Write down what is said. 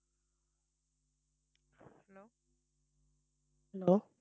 hello